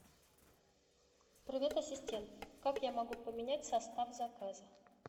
привет ассистент как я могу поменять состав заказа